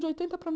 De oitenta para